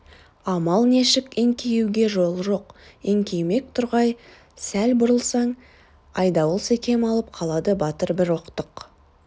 амал нешік еңкеюге жол жоқ еңкеймек тұрғай сәл бұрылсаң айдауыл секем алып қалады батыр бір оқтық